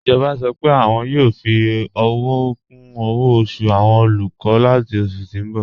Ijọba sọ́ pé wọn yoo fi owo kun owo osu awọn olukọ lati oṣù ti n bọ̀.